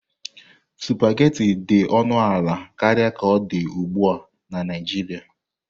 Supagetii dị ọnụ ala karịa ka ọ dị ugbu a na Naijiria.